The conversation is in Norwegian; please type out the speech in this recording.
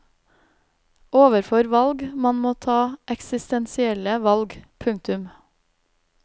Overfor valg man må ta eksistensielle valg. punktum